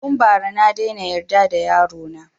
Tun ba ra na daina yarda da yaro na